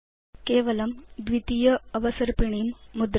केवलं द्वितीय अवसर्पिणीं मुद्रयतु